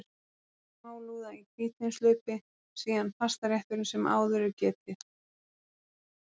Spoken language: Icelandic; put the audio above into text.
Fyrst er smálúða í hvítvínshlaupi, síðan pastarétturinn sem áður er getið.